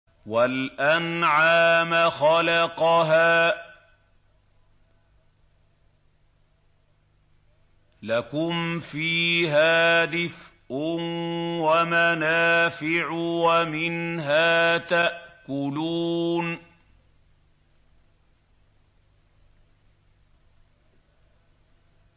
وَالْأَنْعَامَ خَلَقَهَا ۗ لَكُمْ فِيهَا دِفْءٌ وَمَنَافِعُ وَمِنْهَا تَأْكُلُونَ